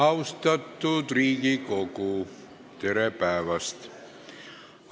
Austatud Riigikogu, tere päevast!